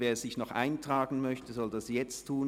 Wer sich noch eintragen möchte, soll das jetzt tun.